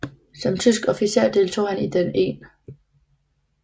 Som tysk officer deltog han i den 1